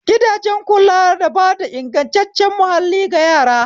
Gidajen kula na bada ingantaccen mahalli ga yara